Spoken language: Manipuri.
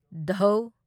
ꯙ